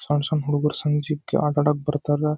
ಸಣ್ನ ಸಣ್ನ ಹುಡುಗೂರು ಸುದ್ನೆಕಿ ಆಟ ಆಡಕ್ಕೆ ಬರ್ತಾರೆ .